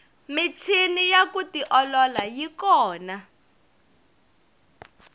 michini ya ku tiolola yi kona